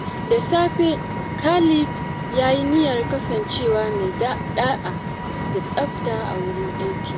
Da safe, Khalid ya yi niyyar kasancewa mai da’a da tsafta a wurin aiki.